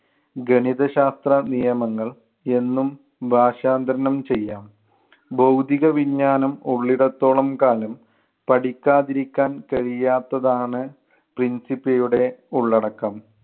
ഗണിതശാസ്ത്ര നിയമങ്ങൾ എന്നും ഭാഷാന്തരണം ചെയ്യാം. ഭൗതികവിജ്ഞാനം ഉള്ളിടത്തോളം കാലം പഠിക്കാതിരിക്കാൻ കഴിയാത്തതാണ് principia യുടെ ഉള്ളടക്കം.